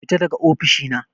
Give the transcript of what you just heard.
Fita daga ofishina.